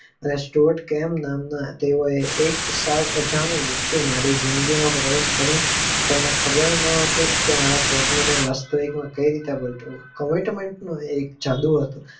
સ્ટટક એમ નામના તેઓએ સૌ અજાણી વક્તિ આ મારી જિંદગી માં પ્રવેશ કરી તેને ખબર ના હતી કે મારા સ્તન ને વાસ્તવિકતા માં કઈ રીતે બદલું comment નો કે જાદુ હતો.